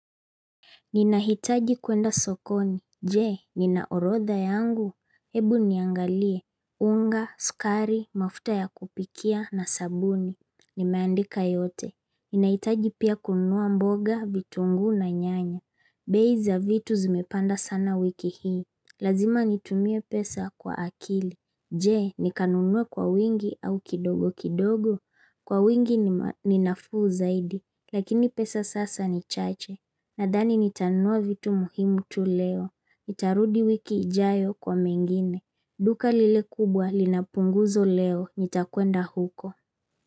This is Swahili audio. Ninahitaji kuenda sokoni, je, nina orodha yangu, hebu niangalie, unga, sukari, mafuta ya kupikia na sabuni, nimeandika yote, ninahitaji pia kunua mboga, vitunguu na nyanya, bei za vitu zimepanda sana wiki hii, lazima nitumie pesa kwa akili, je, nikanunue kwa wingi au kidogo kidogo. Kwa wingi ni nafuu zaidi, lakini pesa sasa ni chache, Nadani nitanua vitu muhimu tu leo, nitarudi wiki ijayo kwa mengine, duka lile kubwa lina punguzo leo nitakuenda huko.